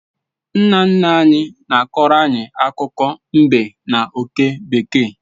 Nna nna anyị na-akọọrọ anyị akụkọ mbe na oke bekee